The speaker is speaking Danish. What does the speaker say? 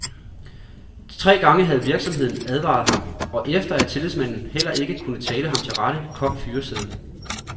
Tre gange havde virksomheden advaret ham, og efter at tillidsmanden heller ikke kunne tale ham til rette, kom fyresedlen.